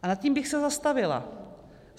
A nad tím bych se zastavila.